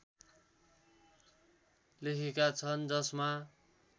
लेखेका छन् जसमा